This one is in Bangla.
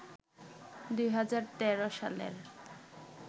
২০১৩ সালের